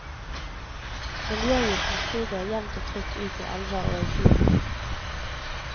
Miljøgiften siger jevnt og trutt ut i elver og i fjorden.